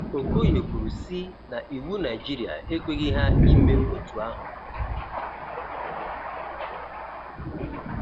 Okoye kwuru si na iwu Naịjirịa ekweghi ha ime otu ahụ.